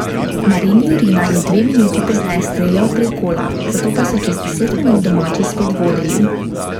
Marin Jurina je dve minuti pozneje streljal prek gola, zato pa so čez deset minut domači spet vodili.